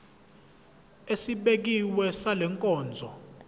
esibekiwe sale nkonzo